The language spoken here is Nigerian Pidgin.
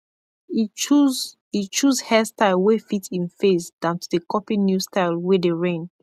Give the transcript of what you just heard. e choose e choose hairstyle wey fit en face dan to dey kopy new style wey dey reign